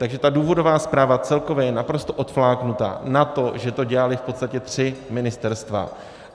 Takže ta důvodová zpráva celkově je naprosto odfláknutá na to, že to dělala v podstatě tři ministerstva.